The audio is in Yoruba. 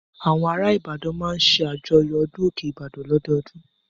Àwọn ará Ìbàdàn máa ń ṣàjọyọ̀ ọdún òkè Ìbàdàn lọ́dọọdún.